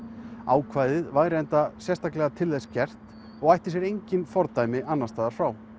ákvæðið væri enda til þess gert og ætti sér engin fordæmi annars staðar frá